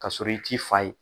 K'a sɔrɔ i t'i fa ye